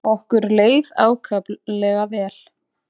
Okkur leið ákaflega vel.